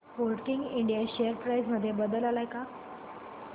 Sportking India share price मध्ये बदल आलाय का